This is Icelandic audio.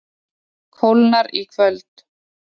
Kólnar í kvöld